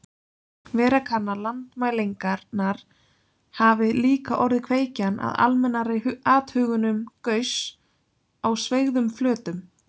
Vera kann að landmælingarnar hafi líka orðið kveikjan að almennari athugunum Gauss á sveigðum flötum.